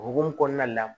O hukumu kɔnɔna la